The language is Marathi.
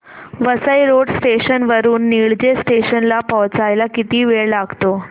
वसई रोड स्टेशन वरून निळजे स्टेशन ला पोहचायला किती वेळ लागतो